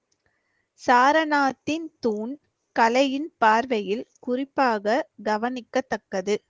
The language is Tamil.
சாரநாத்தின் தூண் கலையின் பார்வையில் குறிப்பாக கவனிக்கத்தக்கது.